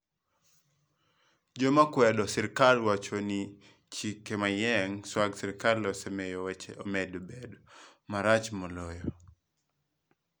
Joma kwedo sirkal wacho ni chike manyien mag sirikal osemiyo weche omedo bedo marach moloyo.